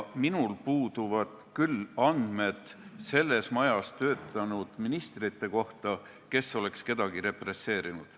Minul puuduvad küll andmed selles majas töötanud ministrite kohta, et keegi neist oleks kedagi represseerinud.